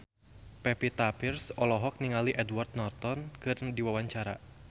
Pevita Pearce olohok ningali Edward Norton keur diwawancara